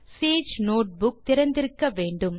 Sage notebook திறந்திருக்க வேண்டும்